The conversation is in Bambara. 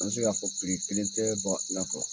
An bi se ka fɔ kelen tɛ bagan gɛnna kɔ